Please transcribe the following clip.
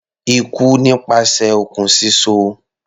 Ikú nípasẹ̀ okùn síso.